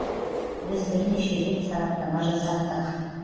біз бернеше рет сараптама жасаттық